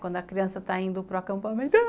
Quando a criança está indo para acampamento.